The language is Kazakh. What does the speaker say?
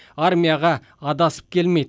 армияға адасып келмейді